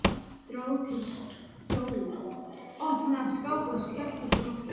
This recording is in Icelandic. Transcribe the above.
Dró til stóla, opnaði skápa og skellti þeim aftur.